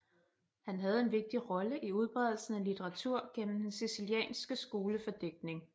Han havde en vigtig rolle i udbredelsen af litteratur gennem den sicilianske skole for digtning